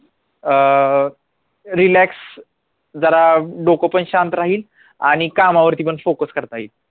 अं relax जरा डोकं पण शांत राहील आणि कामावरती पण focus करता येईल